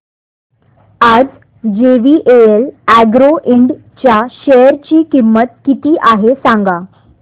आज JVL agro ind च्या share ची किंमत किती आहे सांगा